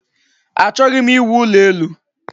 Achọghị m iwu ụlọ elu